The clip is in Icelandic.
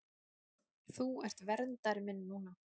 Þú ert verndari minn núna.